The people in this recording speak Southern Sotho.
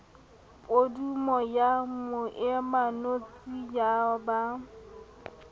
podumo ya moemanotshi ya ba